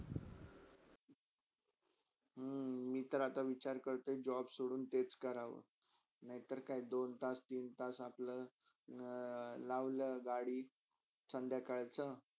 हम्म मी तर आता तेच आता विचार करतोय job सोडून तेच करावा नयतर काय दोन तास, तीन तास अपला लावला गाडी संध्याकाळची.